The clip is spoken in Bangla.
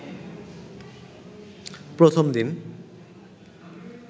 প্রথম দিন